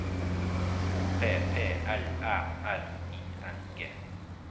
O P P L Æ R I N G